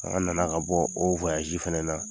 An nana ka bɔ o wayasi fana na